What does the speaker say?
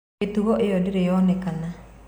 Mĩtugo ĩyo ndĩrĩ yonekana.